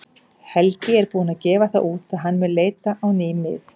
Helgi er búinn að gefa það út að hann mun leita á ný mið.